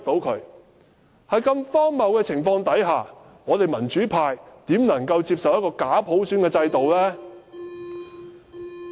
在如此荒謬的情況下，民主派怎能接受一個假普選的制度呢？